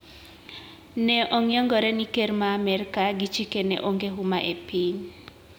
Ne ong`iengore ni ker ma Amerka gi chikene onge huma e piny.